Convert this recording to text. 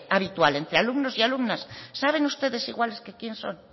habitual entre alumnos y alumnas saben ustedes iguales que quién son